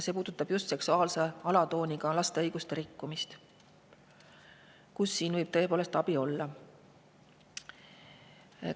Need puudutavad laste õiguste rikkumist, mis on seksuaalse alatooniga ja mille puhul võib tõepoolest olla.